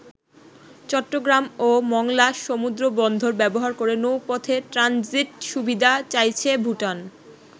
চট্টগ্রাম ও মংলা সমুদ্রবন্দর ব্যবহার করে নৌপথে ট্রানজিট সুবিধা চাইছে ভুটান।